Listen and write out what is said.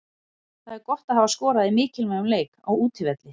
Það er gott að hafa skorað í mikilvægum leik, á útivelli.